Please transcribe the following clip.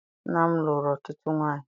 Nna m lụrụ ọtụtụ nwaanyị.